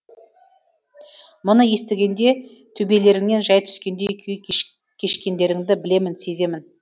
мұны естігенде төбелеріңнен жай түскендей күй кешкендеріңді білемін сеземін